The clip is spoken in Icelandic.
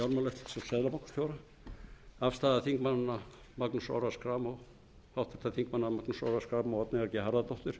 fjármálaeftirlitsins og seðlabankastjóra afstaða háttvirts þingmanns magnúsar orra schram og oddnýjar g harðardóttur